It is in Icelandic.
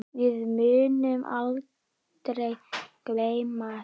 Við munum aldrei gleyma þessu.